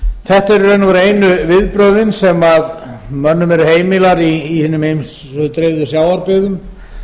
þetta eru í raun og veru einu viðbrögðin sem mönnum eru heimil í hinum ýmsu dreifðu sjávarbyggðum